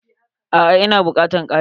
A'a, ina bukatan kari.